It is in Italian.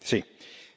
Signor